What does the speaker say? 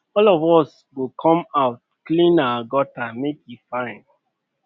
all of us go come out clean our gutter make e fine